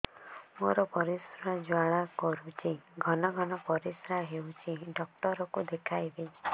ମୋର ପରିଶ୍ରା ଜ୍ୱାଳା କରୁଛି ଘନ ଘନ ପରିଶ୍ରା ହେଉଛି ଡକ୍ଟର କୁ ଦେଖାଇବି